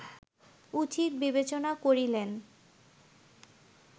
উচিত বিবেচনা করিলেন